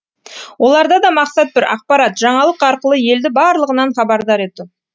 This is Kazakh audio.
оларда да мақсат бір ақпарат жаңалық арқылы елді барлығынан хабардар ету